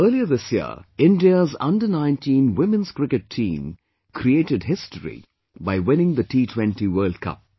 Earlier this year, India's Under19 women's cricket team created history by winning the T20 World Cup